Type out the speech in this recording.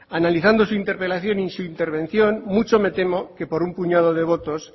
analizando su interpelación y su intervención mucho me temo que por un puñado de votos